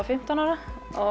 fimmtán ára